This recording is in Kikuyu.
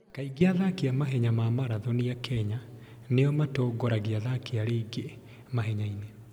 Kaingĩ athaki a mahenya ma marathoni a Kenya nĩo matongoragia athaki arĩa angĩ mahenya-inĩ.